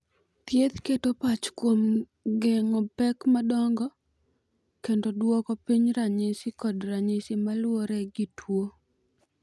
Thieth keto pach kuom geng'o pek madongo kendo duoko piny ranyisi kod ranyisi ma luwore gi tuo.